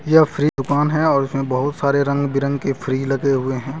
यह फ्रिज दुकान है और उसमें बहुत सारे रंग बिरंगे फ्रिज लगे हुए हैं।